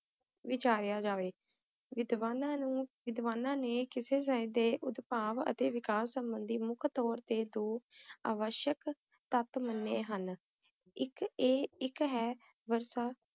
ਗ਼ਰੀਬ ਜਾਏਗਾ ਤਾਂ ਇਨ੍ਹਾਂ ਦਿਨਾਂ ਵਿੱਚ ਤੇਰਾ ਇੱਕ ਦਰਸ਼ਨ ਹੈ